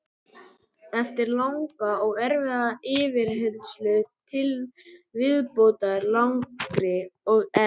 Eftir langa og erfiða yfirheyrslu til viðbótar langri og erf